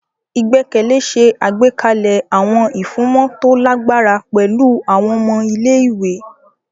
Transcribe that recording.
Igbẹkẹle ṣe àgbékalẹ̀ awọn ifunmọ to lagbara pẹlu awọn ọmọ ilé-ìwé.